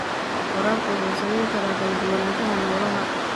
Waraabka wuxuu saameyn karaa kala duwanaanshaha noolaha.